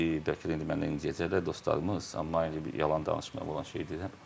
Bəlkə də indi məndən incəyəcəklər dostlarımız, amma mən heç bir yalan danışmıram, olan şeyi deyirəm.